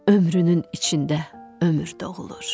Ömrünün içində ömür doğulur.